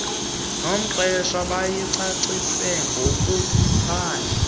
nomqeshwa bayicacise ngokuphandle